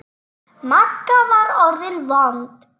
Magga var orðin vond.